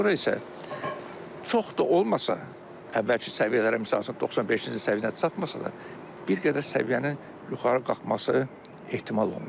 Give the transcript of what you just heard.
Sonra isə çox da olmasa əvvəlki səviyyələrə, misal üçün 95-ci səviyyəyə çatmasa da bir qədər səviyyənin yuxarı qalxması ehtimal olunur.